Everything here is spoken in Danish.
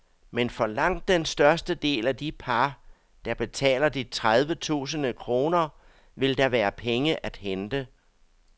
Men for langt den største del af de par, der betaler de tredive tusinde kroner, vil der være penge at hente.